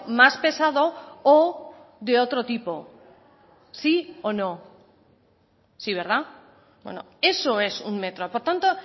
más pesado o de otro tipo sí o no sí verdad eso es un metro por tanto